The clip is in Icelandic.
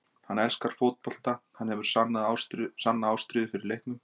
Hann elskar fótbolta, hann hefur sanna ástríðu fyrir leiknum.